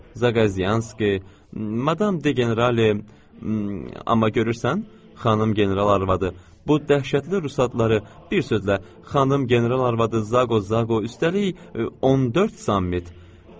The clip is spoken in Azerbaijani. “Zaqozyanski, madam De Generali, amma görürsən? Xanım general arvadı. Bu dəhşətli rus adları, bir sözlə, xanım general arvadı Zaqo-Zaqo, üstəlik, 14 sammit.”